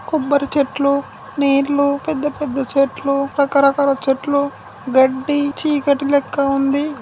కొబ్బరి చెట్లు నీళ్ళు పెద్ద పెద్ద చెట్లు రక రకాలా చెట్లు గెడ్డి చీకటి లెక్క ఉంది.